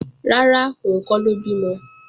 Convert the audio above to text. Rárá, òun kọ́ ló bímọ